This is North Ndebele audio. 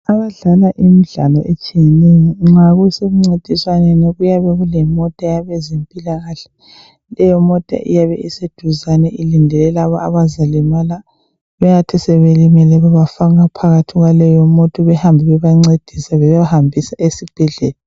Abadlala imidlalo etshiyeneyo nxa kuse mncintiswaneni kuyabe kulemota yabezempilakahle. Leyo mota iyabe iseduzane ilindele labo abazalimala . Bayathi sebelimele bababafaka kuleyo mota behambe bebancedisa bebahambisa esibhedlela.